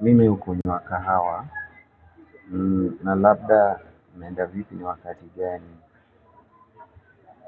Mimi hukunywa kahawa na labda ninapenda vipi ni wakati gani